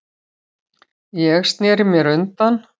Ég sneri mér undan.